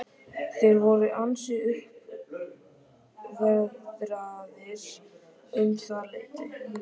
Þeir voru ansi uppveðraðir um það leyti.